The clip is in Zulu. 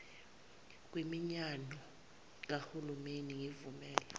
kwiminyano kahulimeni ngivumele